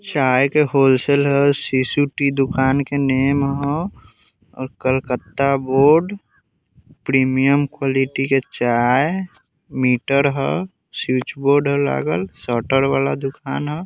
चाय के wholesaler Sisu tea दुकान के नेम ह और कलकत्ता बोर्ड प्रीमियम क़्वालिटी के चाय मीटर ह स्विच बोर्ड ह लागल शटर वाला दुकान ह।